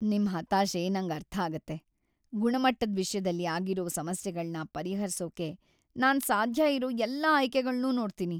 ನಿಮ್ ಹತಾಶೆ ನಂಗ್ ಅರ್ಥಾಗತ್ತೆ, ಗುಣಮಟ್ಟದ್‌ ವಿಷ್ಯದಲ್ಲಿ ಆಗಿರೋ ಸಮಸ್ಯೆಗಳ್ನ ಪರಿಹರ್ಸೋಕೆ ನಾನ್ ಸಾಧ್ಯ ಇರೋ ಎಲ್ಲಾ ಆಯ್ಕೆಗಳ್ನೂ ನೋಡ್ತೀನಿ.